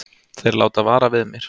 Þeir láta vara við mér.